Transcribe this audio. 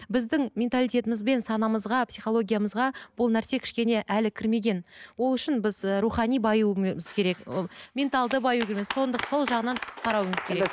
біздің менталитетіміз бен санамызға психологиямызға бұл нәрсе кішкене әлі кірмеген ол үшін біз ы рухани баюымыз керек ы ол менталды баюымыз сол жағынан қарауымыз керек